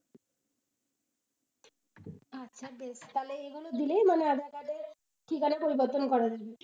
আচ্ছা দেখছি তাহলে এইগুলো দিলেই মানে aadhaar card এ ঠিকানা পরিবর্তন করা যাবে।